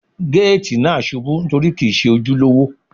Géètì náà ṣubú nítorí kìí Ṣe ojúlówó.